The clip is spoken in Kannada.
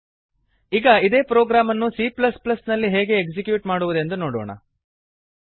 ಈಗ ಇದೇ ಪ್ರೊಗ್ರಾಮ್ ಅನ್ನು c ನಲ್ಲಿ ಹೇಗೆ ಎಕ್ಸಿಕ್ಯೂಟ್ ಮಾಡುವುದೆಂದು ನೋಡೋಣ